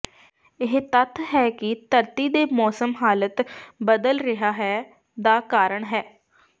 ਇਹ ਤੱਥ ਹੈ ਕਿ ਧਰਤੀ ਦੇ ਮੌਸਮ ਹਾਲਤ ਬਦਲ ਰਿਹਾ ਹੈ ਦਾ ਕਾਰਨ ਹੈ